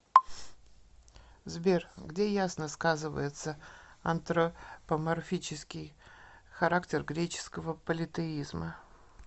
сбер где ясно сказывается антропоморфический характер греческого политеизма